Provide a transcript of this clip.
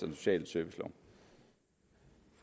den sociale servicelov